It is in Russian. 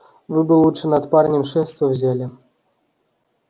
вы бы лучше над парнем шефство взяли